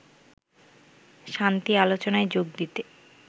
শান্তি আলোচনায় যোগ দিতে